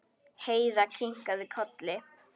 Heiða kinkaði kolli.